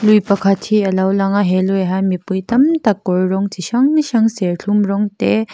lui pakhat hi alo lang a he lui ah hian mipui tam tak kawr rawng chi hrang hrang serthlum rawng te--